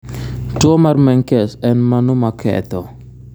Tuo mar menkes en mano ma ketho